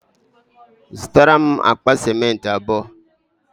Zụtara m akpa sịmentị abụọ.